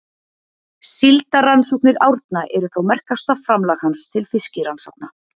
Síldarrannsóknir Árna eru þó merkasta framlag hans til fiskirannsókna.